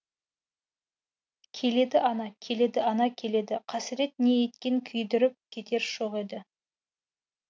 келеді ана келеді ана келеді қасірет не еткен күйдіріп кетер шоқ еді